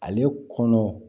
Ale kɔnɔ